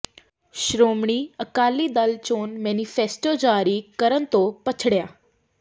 ਸ਼੍ਰੋਮਣੀ ਅਕਾਲੀ ਦਲ ਚੋਣ ਮੈਨੀਫੈਸਟੋ ਜਾਰੀ ਕਰਨ ਤੋਂ ਪਛੜਿਆ